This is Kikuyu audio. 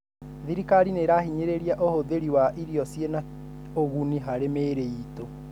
Thirikari nĩirahinyĩrĩria ũhũthĩri wa irio ciĩna ũguni harĩ mĩiri itũ.